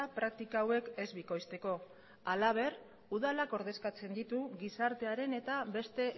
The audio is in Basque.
praktika hauek ez bikoizteko halaber udalak ordezkatzen ditu gizartearen eta beste